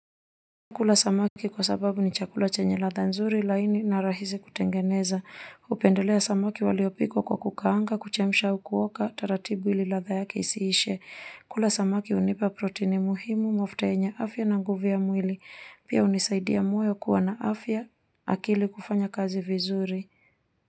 Kula samaki kwa sababu ni chakula chenye ladha nzuri, laini na rahisi kutengeneza hupendelea samaki waliopikwa kwa kukaanga, kuchemisha au kuoka taratibu ili ladha yake isiishe kula samaki hunipa protini muhimu mafuta yenye afya na nguvu ya mwili pia hunisaidia moyo kuwa na afya, akili kufanya kazi vizuri.